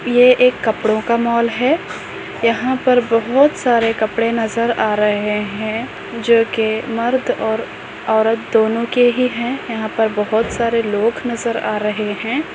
ये एक कपड़ोंका मॉल है यहाँ पर बहुत सारे कपड़े नजर आ रहे है जो कि मर्द और औरत दोंनो के ही है यहाँ पर बहुत सारे लोग नजर आ रहे है।